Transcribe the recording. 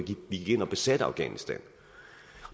vi gik ind og besatte afghanistan